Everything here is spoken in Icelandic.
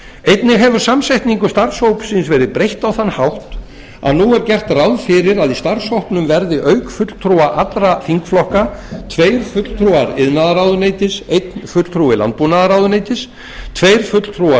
einnig hefur samsetningu starfshópsins verið breytt á þann hátt að nú er gert ráð fyrir að í starfshópnum verði auk fulltrúa allra þingflokka tveir fulltrúar iðnaðarráðuneytis einn fulltrúi landbúnaðarráðuneytis tveir fulltrúar